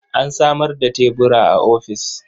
An samar da tebura a ofis.